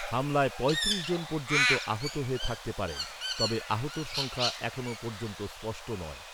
হামলায় পঁয়ত্রিশ জন পর্যন্ত আহত হয়ে থাকতে পারেন। তবে আহতের সংখ্যা এখনও পর্যন্ত স্পষ্ট নয়।